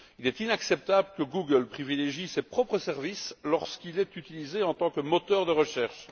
Il est inacceptable que Google privilégie ses propres services lorsqu'il est utilisé en tant que moteur de recherche.